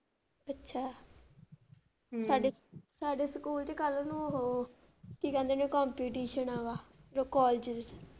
ਅੱਛਾ ਸਾਡੇ ਸਕੂਲ ਚ ਕੱਲ ਨੂੰ ਉਹ ਕੀ ਕਹਿੰਦੇ ਨੇ ਆ ਕਾੱਲੇਜ ਚ।